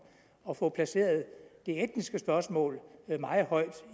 og fået placeret det etniske spørgsmål meget højt